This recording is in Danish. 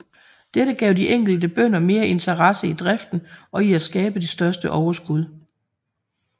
Dette gav de enkelte bønder mere interesse i driften og i at skabe det største overskud